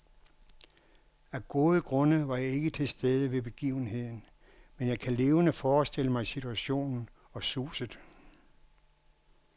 Af gode grunde var jeg ikke til stede ved begivenheden, men jeg kan levende forestille mig situationen og suset.